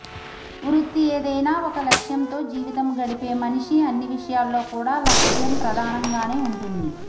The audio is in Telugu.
వృత్తి ఏదైనా ఒక లక్షం తో జీవితం గడిపే మనిషి అన్ని విషయాల్లో కూడా లక్షం ప్రధానంగానే ఉంటుంది